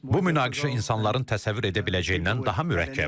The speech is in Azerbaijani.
Bu münaqişə insanların təsəvvür edə biləcəyindən daha mürəkkəbdir.